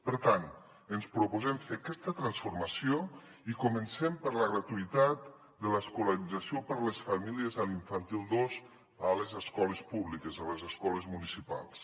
per tant ens proposem fer aquesta transformació i comencem per la gratuïtat de l’escolarització per les famílies a l’infantil dos a les escoles públiques a les escoles municipals